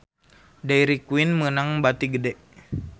Dairy Queen meunang bati gede